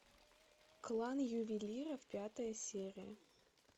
клан ювелиров пятая серия